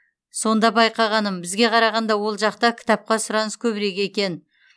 сонда байқағаным бізге қарағанда ол жақта кітапқа сұраныс көбірек екен